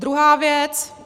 Druhá věc.